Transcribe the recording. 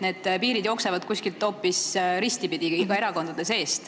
Need piirid jooksevad kuskil hoopis ristipidi, erakondade sees.